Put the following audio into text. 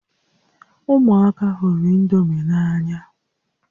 Ụmụaka hụrụ indomi n'anya